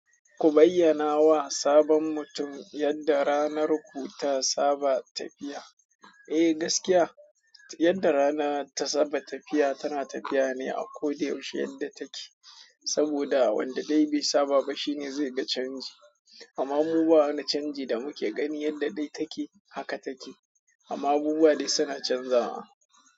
Ku bayyana wa sabon mutum yadda ranar ku ta saba tafiya. Eh, gaskiya yanda rana ta saba tafiya, tana tafiya ne a koda yaushe yanda take saboda wanda dai bai saba ba shi ne zai ga canji. Amma mu ba wani canji da muke gani, yadda dai take haka take. Amma abubuwa dai suna canzawa.